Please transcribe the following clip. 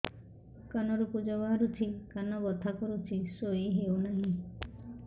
କାନ ରୁ ପୂଜ ବାହାରୁଛି କାନ ବଥା କରୁଛି ଶୋଇ ହେଉନାହିଁ